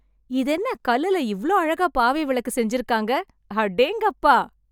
இதென்ன கல்லுல இவ்ளோ அழகா பாவை விளக்கு செஞ்சுருக்காங்க.. அடேங்கப்பா!